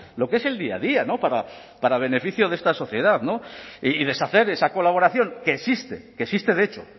lo que es el día a día para beneficio de esta sociedad y deshacer esa colaboración que existe que existe de hecho